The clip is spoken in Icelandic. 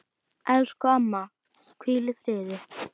Elsku amma, hvíl í friði.